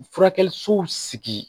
Furakɛli sow sigi